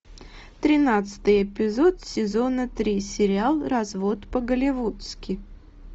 тринадцатый эпизод сезона три сериал развод по голливудски